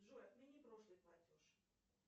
джой отмени прошлый платеж